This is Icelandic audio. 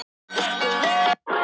Nú er flug með